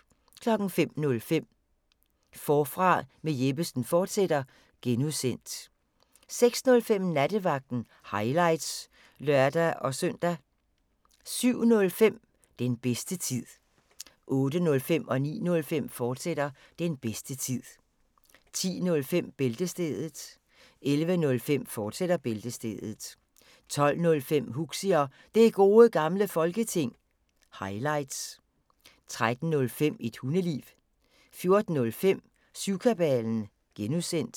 05:05: Forfra med Jeppesen fortsat (G) 06:05: Nattevagten – highlights (lør-søn) 07:05: Den bedste tid 08:05: Den bedste tid, fortsat 09:05: Den bedste tid, fortsat 10:05: Bæltestedet 11:05: Bæltestedet, fortsat 12:05: Huxi og Det Gode Gamle Folketing – highlights 13:05: Et Hundeliv 14:05: Syvkabalen (G)